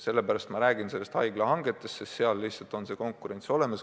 Sellepärast ma räägin haiglahangetest, sest seal lihtsalt on konkurents olemas.